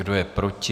Kdo je proti?